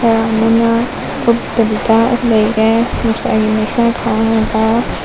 ꯈꯔ ꯑꯃꯅ ꯀꯨꯞꯇꯕꯤꯗ ꯂꯩꯔꯦ ꯅꯨꯡꯁꯥꯒꯤ ꯃꯩꯁꯥ ꯈꯥꯡꯉꯒ꯫